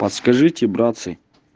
подскажите братцы